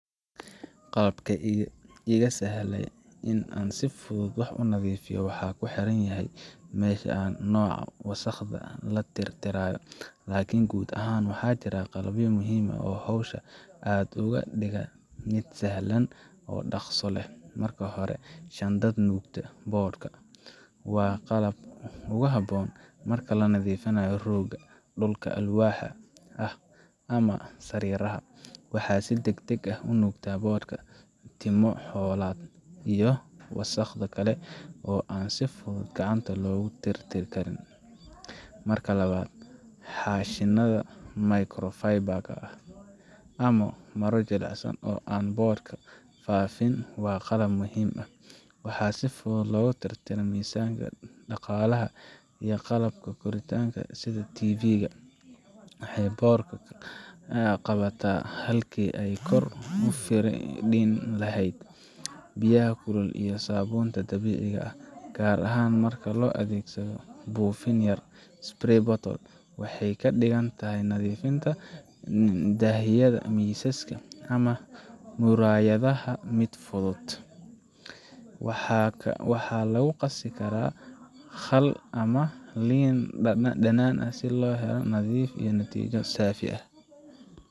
Qalabka iga sahlaya in aan si fudud wax u nadiifiyo wuxuu ku xiran yahay meesha ama nooca wasakhda la tirtirayo, laakiin guud ahaan waxaa jira qalabyo muhiim ah oo hawsha aad uga dhiga mid sahlan oo dhakhso leh. Marka hore, shandad nuugta boodhka waa qalabka ugu habboon marka la nadiifinayo roogga, dhulka alwaaxda ah, ama sariiraha. Waxay si degdeg ah u nuugtaa boodhka, timo xoolaad, iyo wasakhda kale oo aan si fudud gacanta loogu tirtiri karin. Marka labaad, xaashida microfibre ka ah ama maro jilicsan oo aan boodhka faafin waa qalab muhiim ah. Waxaa si fudud loogu tirtiraa miisaska, daaqadaha, iyo qalabka korontada sida TV ga. Waxay boodhka qabataa halkii ay kor u firdhin lahayd. Biyaha kulul iyo saabuunta dabiiciga ah, gaar ahaan marka loo adeegsado buufin yar spray bottlecs], waxay ka dhigaan nadiifinta daahyada, miisaska, ama muraayadaha mid fudud. Waxaa lagu qasi karaa khal ama liin dhanaan si loo helo ur nadiif ah iyo natiijo saafi ah.